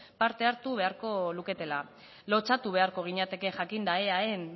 parte hartu beharko luketela lotsatu beharko ginateke jakinda eaen